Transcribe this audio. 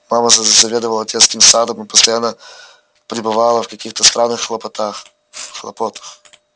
мама заведовала детским садом и постоянно пребывала в каких то странных хлопотах хлопотах